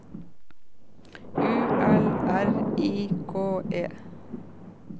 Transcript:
U L R I K E